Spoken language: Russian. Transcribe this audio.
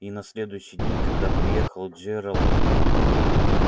и на следующий день когда приехал джералд